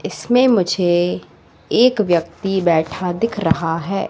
इसमें मुझे एक व्यक्ति बैठा दिख रहा है।